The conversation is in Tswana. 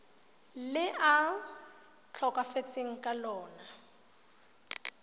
le a tlhokafetseng ka lona